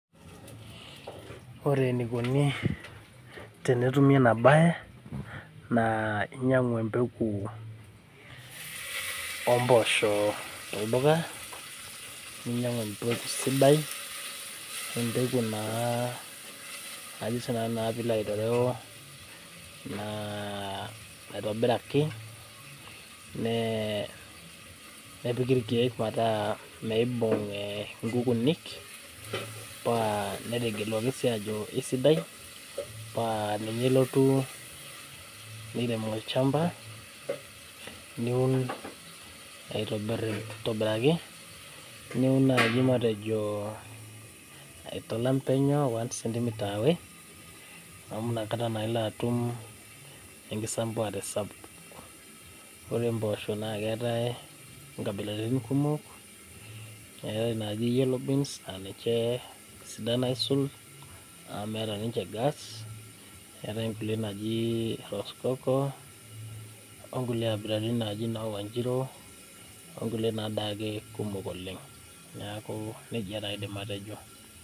Ore enikoni tenetumi ena baye naa inyiang'u empeku omposho tolduka ninyiang'u empeku sidai empeku naa ajo sinanu naa piilo aitereu naa naitobiraki nee nepiki irkeek metaa meibung eh inkukunik paa netegeluaki sii ajo isidai paa ninye ilotu nirem olchamba niun aitobirr aitobiraki niun naaji matejo aitalam penyo one centimetre away amu inakata naa ilo atum enkisambuare sapuk ore impoosho naa keetae inkabilaritin kumok eetae inaaji yellow beans aninche isidan aisul amu meeta ninche gas neetae inkulie naaji rosecoco onkulie abilaritin naaji inoo wanjiru onkulie nadaake kumok oleng naaku nejia taa aidim atejo.